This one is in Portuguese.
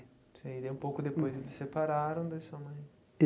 Sei daí um pouco depois, eles se separaram daí sua mãe.